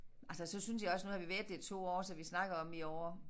Altså så synes jeg også nu har vi været der i 2 år så vi snakkede om i år